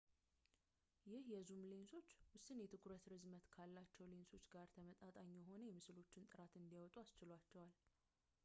ይህ የዙም ሌንሶችን ውስን የትኩረት ርዝመት ካላቸው ሌንሶች ጋር ተመጣጣኝ የሆነ የምስሎች ጥራት እንዲያወጡ አስችሏቸዋል